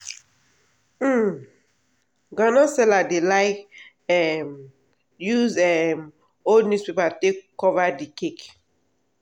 um groundnut seller dey like um use um old newspaper take cover d cake.